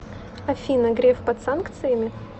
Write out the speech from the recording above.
афина греф под санкциями